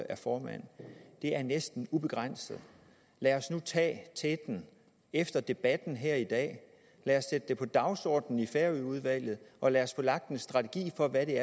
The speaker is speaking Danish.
er formand næsten ubegrænset lad os nu tage teten efter debatten her i dag lad os sætte det på dagsordenen i færøudvalget og lad os få lagt en strategi for hvad vi